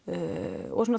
og svona